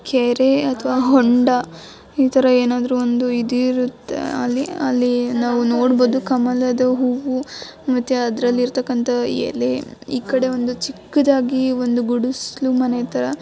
ಕೆರೆ ಅಥವಾ ಹೋಂಡಾ ಈ ತರ ಏನಾದ್ರು ಒಂದು ಈದ್ ಈರುತ್ತೆ ಅಲ್ಲಿ ಅಲ್ಲಿ ನಾವು ನೊಡಬಹುದು ಕಮಲದ ಹೂವು ಮತ್ತೆ ಅದ್ರರ್ಲಿತ್ತಕಂತ ಎಲೆ ಈ ಕಡೆ ಒಂದು ಚಿಕ್ಕದಾಗಿ ಒಂದು ಗುಡಸ್ಲು ಮನೆಥರ .